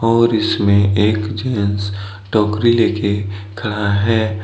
और इसमें एक जेंट्स टोकरी ले के खड़ा है।